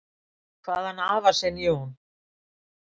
"""Kvað hann afa sinn, Jón"""